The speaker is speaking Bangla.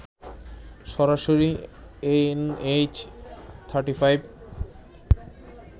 সরাসরি এনএইচ 35